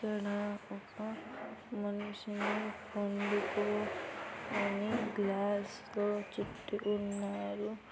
ఇక్కడ ఒక మనిషిని పండుకో అని గ్లాస్ లో చుట్టుకోని ఉన్నాడు.